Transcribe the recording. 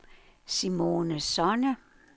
Simone Sonne